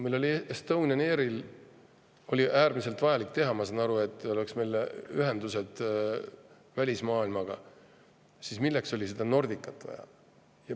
Meil oli äärmiselt vajalik teha Estonian Airi, ma saan aru, et meil oleks ühendused välismaailmaga, aga milleks oli seda Nordicat vaja?